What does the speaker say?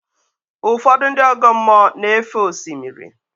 Ụfọdụ ndị ọgọ mmụọ na-éfé osimiri.